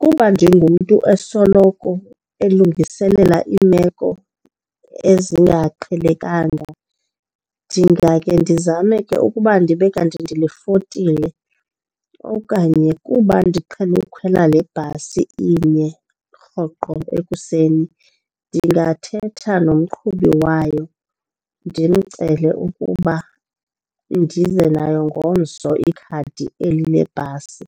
Kuba ndingumntu esoloko elungiselela iimeko ezingaqhelekanga ndingakhe ndizame ke ukuba ndibe kanti ndilifotile. Okanye kuba ndiqhele ukukhwela le bhasi inye rhoqo ekuseni ndingathetha nomqhubi wayo ndimcele ukuba ndize nayo ngomso ikhadi eli lebhasi